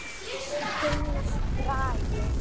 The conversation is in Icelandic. Gunnar Bragi.